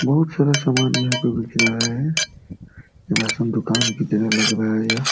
बहुत सारा सामान यहां पे बिक रहा है। राशन दुकान की तरह लग रहा है यहाँ।